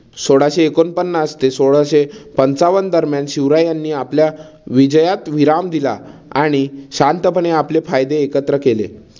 सोळाशे एकोणपन्नास ते सोळाशे पंचावन्न दरम्यान शिवरायांनी आपल्या विजयात विराम दिला आणि शांतपणे आपले फायदे एकत्र केले.